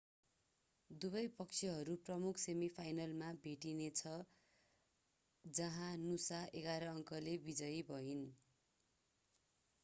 दुवै पक्षहरू प्रमुख सेमिफाइनलमा भेट्नेछ जहाँ नुसा 11 अंकले विजयी भइन्